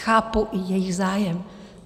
Chápu jejich zájem.